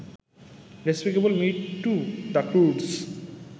despicable Me Two, The ক্রুডস